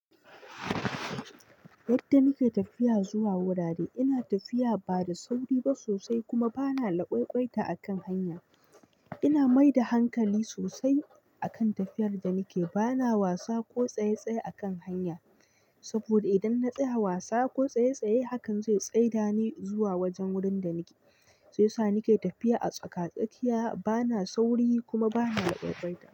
Yadda nake tafiya zuwa wurare, ina tafiya ba da sauri ba sosai kuma ba na lakwai-kwaita a kan hanya. Ina mai da hankali sosai akan tafiyar da nake, ba na wasa ko tsaye tsaye a kan hanya, saboda idan na tsaya wasa ko tsaye tsaye, hakan zai tsai da ni zuwa wajen wurin da nake. Yi ya sa nake tafiya a tsaka-tsakiya, ba na sauri kuma ba na lakwaikwaita.